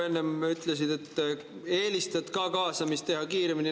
Enne ütlesid, et eelistad ka kaasamist teha kiiremini.